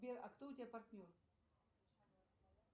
сбер а кто у тебя партнер